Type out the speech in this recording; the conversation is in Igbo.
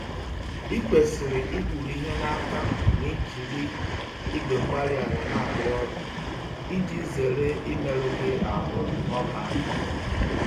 Ị kwesịrị ikpuru-ihe n'aka ma ị jiri igwe-mgbárí-ala na-arụ ọrụ, iji zere imerụ gị ahụ n'ọbá-àkà